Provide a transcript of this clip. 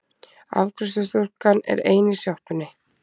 Afgreiðslustúlkan er ein í sjoppunni.